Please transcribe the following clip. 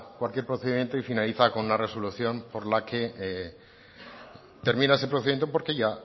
cualquier procedimiento y finaliza con una resolución por la que termina ese procedimiento porque ya